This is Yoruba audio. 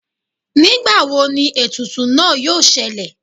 ngbàwó ní etùtù náá yóò ṣẹlẹ